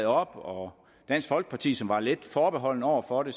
op og dansk folkeparti som var lidt forbeholdne over for det